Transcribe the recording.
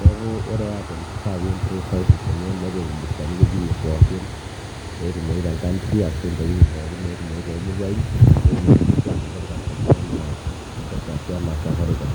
neeku ore airtel kifaa pii improve services enye nepik irbustani wuejitin pookin neetumoyu tenkantri ashu ntokitin pookin neetumoyu toomuruain peetumoki sininche anoto irkastomani anaa mpesa ashu anaa safaricom.